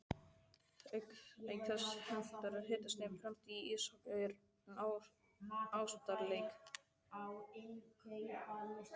Auk þess hentar hitastigið fremur íshokkí en ástarleik.